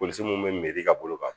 Polisi mun bɛ miiri ka bolo kan